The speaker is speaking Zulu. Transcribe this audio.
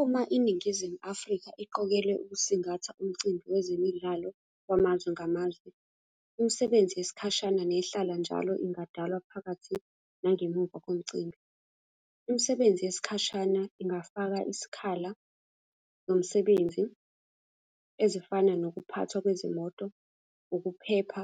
Uma iNingizimu Afrika iqokwelwe ukusingatha umcimbi wezemidlalo wamazwe ngamazwe, imisebenzi yesikhashana nehlala njalo ingadalwa phakathi nangemuva komcimbi. Imisebenzi yesikhashana ingafaka isikhala nomsebenzi ezifana nokuphathwa kwezimoto, ukuphepha,